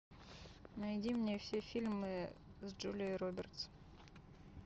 найди мне все фильмы с джулией робертс